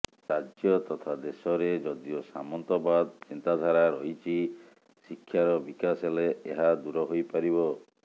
ରାଜ୍ୟ ତଥା ଦେଶରେ ଯଦିଓ ସାମନ୍ତବାଦ ଚିନ୍ତାଧାରା ରହିଛି ଶିକ୍ଷାର ବିକାଶ ହେଲେ ଏହା ଦୂର ହୋଇପାରିବ